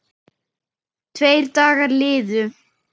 Tveir dagar liðu.